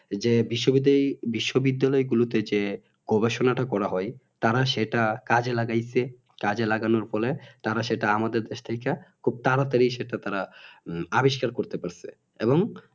যে বিশ্ব বিদ্যালয়ে গুলোতে যে গবেষণাটি করা হয় তারা সেটা কাজে লাগাইছে কাজে লাগানোর ফলে তারা সেটা আমাদের দেশ থেকে খুব তাড়া তাড়ি সেটা তারা আবিষ্কার করতে পেরেছে এবং